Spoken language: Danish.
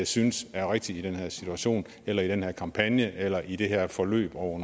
synes er rigtigt i den her situation eller i den her kampagne eller i det her forløb over